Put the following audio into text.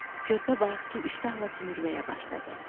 Körpə bayaqkı iştahla sümürməyə başladı.